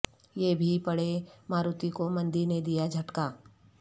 یہ بھی پڑھیں ماروتی کو مندی نے دیا جھٹکا